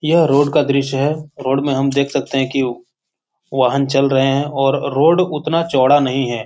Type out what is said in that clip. यह रोड का दृश्य है रोड मे हम देख सकते है कि वाहन चल रहे है और रोड उतना चौड़ा नही है।